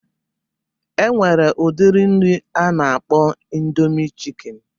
E nwere udiri nri a na-akpọ ịndomi chịkịn